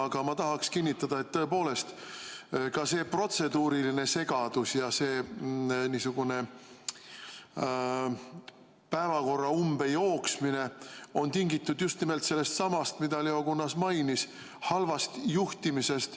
Aga ma tahaksin kinnitada, et tõepoolest, ka see protseduuriline segadus ja see niisugune päevakorra umbejooksmine on tingitud just nimelt sellestsamast, mida Leo Kunnas mainis: halvast juhtimisest.